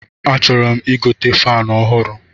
A chọrọ m igote fanu ọhụrụ